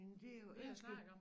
Men det er jo ellers lidt